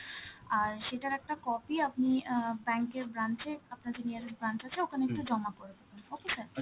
আর সেটার একটা copy আপনি অ্যাঁ bank এর branch এ, আপনার যে nearest branch আছে, ওখানে একটু জমা করে দেবেন, okay sir?